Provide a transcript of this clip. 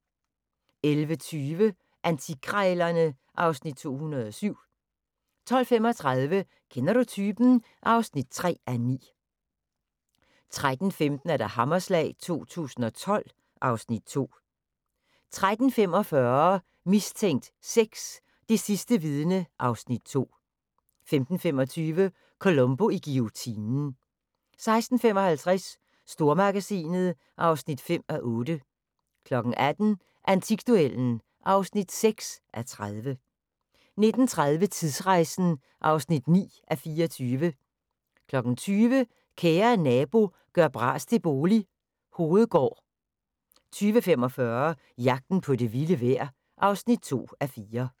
11:20: Antikkrejlerne (Afs. 207) 12:35: Kender du typen? (3:9) 13:15: Hammerslag 2012 (Afs. 2) 13:45: Mistænkt 6: Det sidste vidne (Afs. 2) 15:25: Columbo i guillotinen 16:55: Stormagasinet (5:8) 18:00: Antikduellen (6:30) 19:30: Tidsrejsen (9:24) 20:00: Kære nabo – gør bras til bolig – Hovedgård 20:45: Jagten på det vilde vejr (2:4)